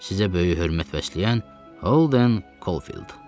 Sizə böyük hörmət bəsləyən Holden Kofil.